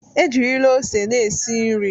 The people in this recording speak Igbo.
Ejirila ose na-esi nri.